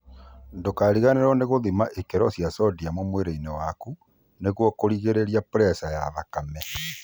Ndũkariganĩrwo nĩ gũthima ikĩro cia sodium mwĩrĩ-inĩ waku, nĩguo kũrigĩrĩria preca ya thakame